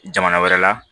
Jamana wɛrɛ la